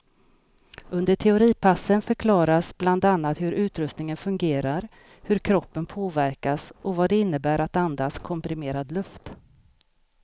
Under teoripassen förklaras bland annat hur utrustningen fungerar, hur kroppen påverkas och vad det innebär att andas komprimerad luft.